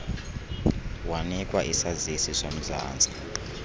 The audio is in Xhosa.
wanikwa isazisi somzantsi